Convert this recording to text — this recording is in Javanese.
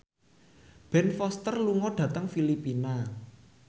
Ben Foster lunga dhateng Filipina